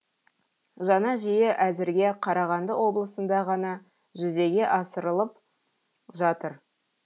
жаңа жүйе әзірге қарағанды облысында ғана жүзеге асырылып жатыр